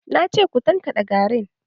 Na ce ku tankaɗe garin!